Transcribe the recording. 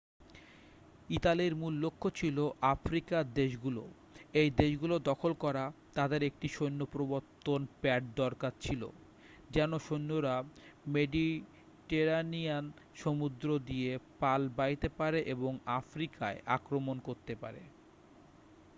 ইটালির মূল লক্ষ্য ছিল আফ্রিকার দেশগুলো ওই দেশগুলো দখল করা তাদের একটি সৈন্য প্রবর্তন প্যাড দরকার ছিল যেন সৈন্যরা মেডিটেরানিয়ান সমুদ্র দিয়ে পাল বাইতে পারে এবং আফ্রিকায় আক্রমণ করতে পারে